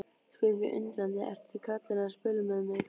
Spyr því undrandi: Eru karlarnir að spila með mig?